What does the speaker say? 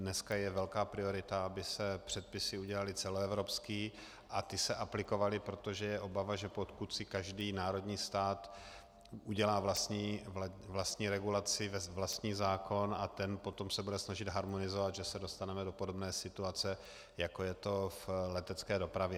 Dneska je velká priorita, aby se předpisy udělaly celoevropské a ty se aplikovaly, protože je obava, že pokud si každý národní stát udělá vlastní regulaci, vlastní zákon a ten potom se bude snažit harmonizovat, že se dostaneme do podobné situace, jako je to v letecké dopravě.